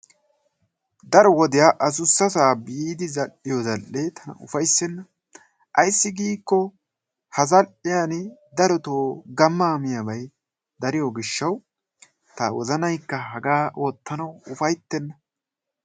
Daro wodiyan adussasaa biidi zal"iyo zal"ee tana ufayssenna. Ayssi giikko ha zal"iyani darotoo gammaa miyabay dariyo gishshawu ta wozanaykka hagaa oottanawu ufayttenna.